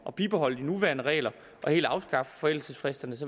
at bibeholde de nuværende regler og helt afskaffe forældelsesfristerne